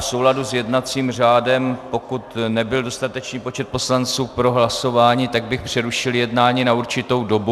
V souladu s jednacím řádem, pokud nebyl dostatečný počet poslanců pro hlasování, tak bych přerušil jednání na určitou dobu.